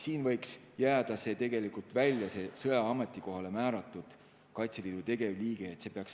Siin võiks tegelikult see "sõjaaja ametikohale määratud Kaitseliidu tegevliige" välja jääda.